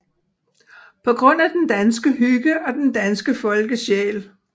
På grund af den danske hygge og den danske folkesjæl